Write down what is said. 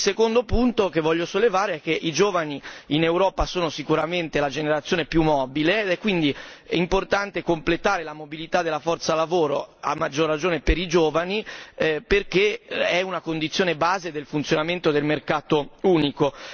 Il secondo punto che voglio sollevare è che i giovani in Europa sono sicuramente la generazione più mobile ed è quindi importante completare la mobilità della forza lavoro, a maggior ragione per i giovani perché è una condizione base del funzionamento del mercato unico.